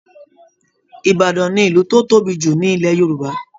Ìbàdàn ni ìlú tó tóbi jù ní Ilẹ̀ Yorùbá